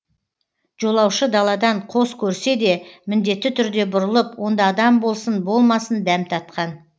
жолаушы даладан қос көрсе де міндетті түрде бұрылып онда адам болсын болмасын дәм татқан